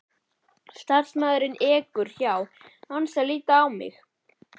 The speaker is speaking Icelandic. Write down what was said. Starfsmaðurinn ekur hjá án þess að líta á mig.